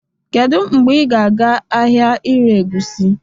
Kedu mgbe ị ga-aga ahịa ire egusi?